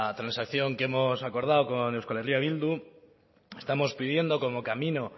transacción que hemos acordado con eh bildu estamos pidiendo como camino